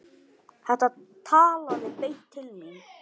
Þetta talaði beint til mín.